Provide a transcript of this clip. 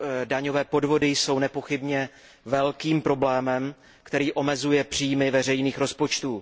Daňové podvody jsou nepochybně velkým problémem, který omezuje příjmy veřejných rozpočtů.